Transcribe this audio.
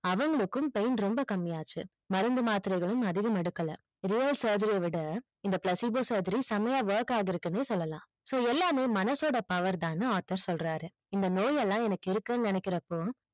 அவங்களுக்கும் pain ரொம்ப காமியாச்சு மருந்து மாத்திரைகளும் அதிகம் எடுக்கல real surgery விட இந்த placebo surgery சம்மையா work ஆகியிருக்கு சொல்லலாம் so எல்லாமே மனசோட power தான் author சொல்றாரு